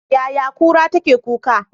Yaya kura take kuka?